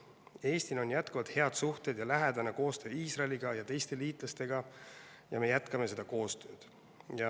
Eestil on jätkuvalt head suhted ja lähedane koostöö Iisraeli ja teiste liitlastega ja me jätkame seda koostööd.